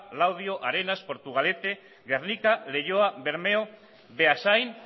laudio arenas portugalete gernika leioa bermeo beasain